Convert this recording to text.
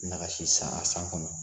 Nagasi san a san kɔnɔ